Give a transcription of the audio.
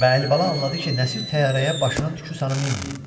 Və Əlibala anladı ki, Nəsir təyyarəyə başının tükü sanı minməyib.